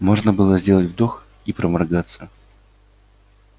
можно было сделать вдох и проморгаться